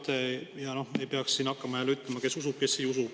Ja ei peaks siin hakkama jälle, et kes seda usub ja kes ei usu.